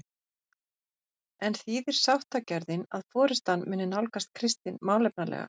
En þýðir sáttagjörðin að forystan muni nálgast Kristin málefnalega?